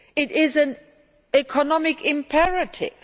It is an economic imperative.